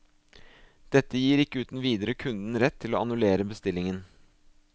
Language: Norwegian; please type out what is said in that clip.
Dette gir ikke uten videre kunden rett til å annullere bestillingen.